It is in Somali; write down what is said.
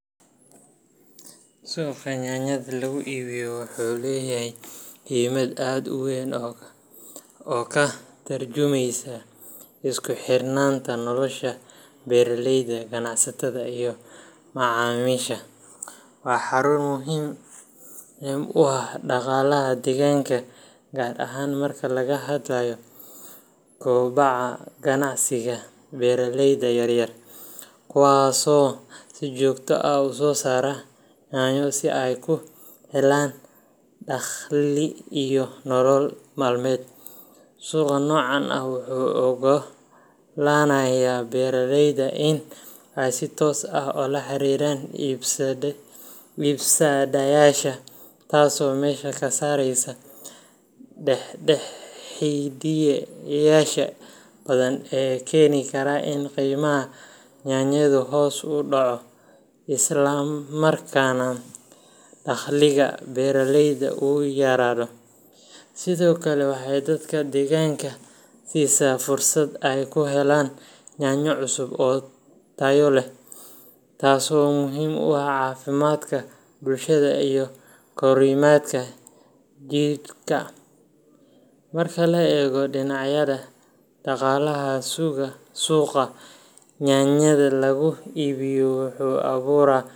Suuqa yaanyada lagu iibiyo wuxuu leeyahay muhiimad aad u weyn oo ka tarjumaysa isku xirnaanta nolosha beeraleyda, ganacsatada, iyo macaamiisha. Waa xarun muhiim u ah dhaqaalaha deegaanka, gaar ahaan marka laga hadlayo kobaca ganacsiga beeraleyda yar yar, kuwaasoo si joogto ah u soo saara yaanyo si ay u helaan dakhli iyo nolol maalmeed. Suuqa noocan ah wuxuu u oggolaanayaa beeraleyda in ay si toos ah ula xiriiraan iibsadayaasha, taasoo meesha ka saaraysa dhexdhexaadiyeyaasha badan ee keeni kara in qiimaha yaanyadu hoos u dhaco, islamarkaana dakhliga beeraleyda uu yaraado. Sidoo kale, waxay dadka deegaanka siisaa fursad ay ku helaan yaanyo cusub oo tayo leh, taasoo muhiim u ah caafimaadka bulshada iyo korriimada jidhka. Marka la eego dhinaca dhaqaalaha, suuqa yaanyada lagu iibiyo wuxuu abuuraa.